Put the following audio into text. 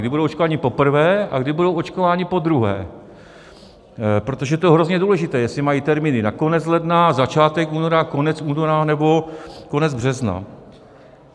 Kdy budou očkováni poprvé a kdy budou očkováni podruhé, protože to je hrozně důležité, jestli mají termíny na konec ledna, začátek února, konec února nebo konec března.